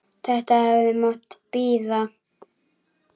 Þetta hefði nú mátt bíða.